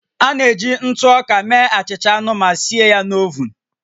A na-eji ntụ ọka mee achịcha anụ ma sie ya na ovun